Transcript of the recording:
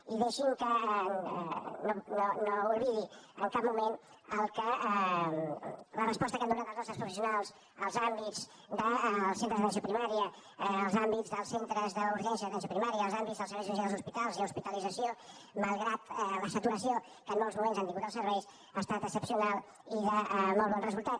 i deixi’m que no oblidi en cap moment la resposta que han donat els nostres professionals als àmbits dels centres d’atenció primària als àmbits dels centres d’urgència d’atenció primària als àmbits dels serveis d’urgència dels hospitals i hospitalització malgrat la saturació que en molts moments han tingut els serveis ha estat excepcional i de molt bon resultat